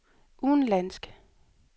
udenlandsk